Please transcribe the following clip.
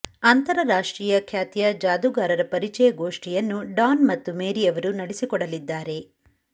ಅಂತರರಾಷ್ಟ್ರೀಯ ಖ್ಯಾತಿಯ ಜಾದೂಗಾರರ ಪರಿಚಯಗೋಷ್ಠಿಯನ್ನು ಡಾನ್ ಮತ್ತು ಮೇರಿ ಅವರು ನಡೆಸಿಕೊಡಲಿದ್ದಾರೆ